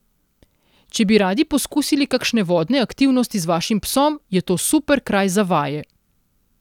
Če bi radi poskusili kakšne vodne aktivnosti z vašim psom, je to super kraj za vaje.